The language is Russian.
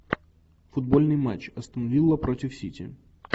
футбольный матч астон вилла против сити